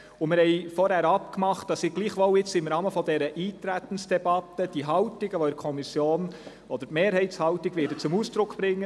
Wir haben aber vorher abgemacht, dass ich jetzt trotzdem im Rahmen dieser Eintretensdebatte die Mehrheitshaltung der Kommission zum Ausdruck bringe.